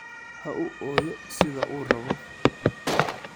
Ha u ooyo sida uu rabo.